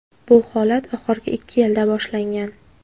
Bu holat oxirgi ikki yilda boshlangan.